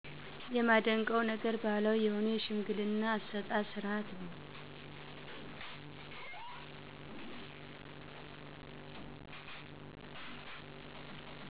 የማደንቀው ነገር ባህላዊ የሆነ የሽምግልና አሰጣጥ ስርዓት ነው.